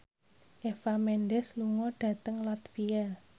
Eva Mendes lunga dhateng latvia